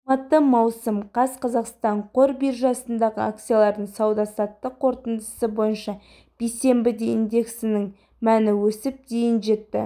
алматы маусым қаз қазақстан қор биржасындағы акциялардың сауда-саттық қорытындысы бойынша бейсенбіде индексінің мәні өсіп дейін жетті